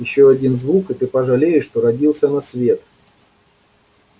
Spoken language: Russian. ещё один звук и ты пожалеешь что родился на свет